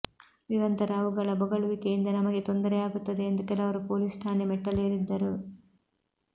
ನಿರಂತರ ಅವುಗಳ ಬೊಗಳುವಿಕೆಯಿಂದ ನಮಗೆ ತೊಂದರೆಯಾಗುತ್ತದೆ ಎಂದು ಕೆಲವರು ಪೊಲೀಸ್ ಠಾಣೆ ಮೆಟ್ಟಿಲೇರಿದ್ದರು